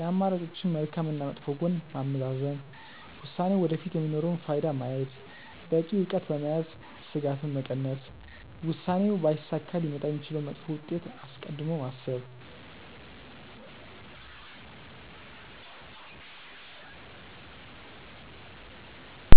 የአማራጮችን መልካም እና መጥፎ ጎን ማመዛዘን፣ ውሳኔው ወደፊት የሚኖረውን ፋይዳ ማየት፣ በቂ እውቀት በመያዝ ስጋትን መቀነስ፣ ውሳኔው ባይሳካ ሊመጣ የሚችለውን መጥፎ ውጤት አስቀድሞ ማሰብ።